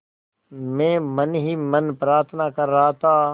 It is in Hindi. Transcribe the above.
मैं मन ही मन प्रार्थना कर रहा था